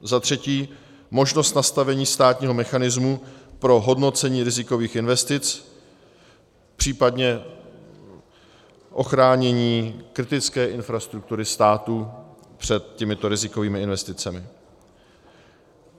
za třetí: možnost nastavení státního mechanismu pro hodnocení rizikových investic, případně ochránění kritické infrastruktury státu před těmito rizikovými investicemi;